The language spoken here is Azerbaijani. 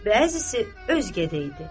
Bəzisi özgədə idi.